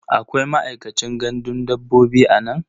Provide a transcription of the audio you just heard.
Akwai ma'aikacin gandun dabbobi a nan?